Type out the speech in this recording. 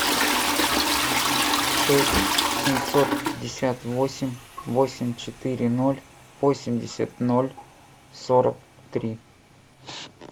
шесть семьсот пятьдесят восемь восемь четыре ноль восемьдесят ноль сорок три